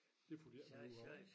Det får de ikke noget ud af